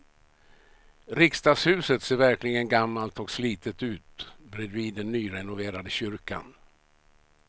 Riksdagshuset ser verkligen gammalt och slitet ut bredvid den nyrenoverade kyrkan.